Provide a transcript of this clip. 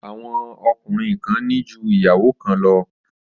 Àwọn ọkùnrin kan ní ju ìyàwó kan lọ.